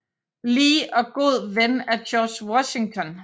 Lee og god ven af George Washington